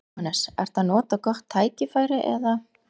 Jóhannes: Ertu að nota gott tækifæri eða?